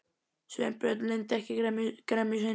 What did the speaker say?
Sveinbjörn og leyndi ekki gremju sinni.